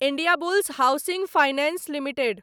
Indiabulls housing finance limited